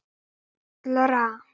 Friðrik var ekki allra.